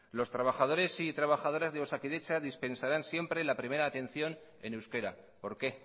los trabajadores y trabajadoras de osakidetza dispensarán siempre la primera atención en euskera por qué